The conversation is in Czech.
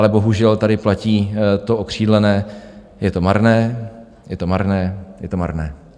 Ale bohužel tady platí to okřídlené: je to marné, je to marné, je to marné.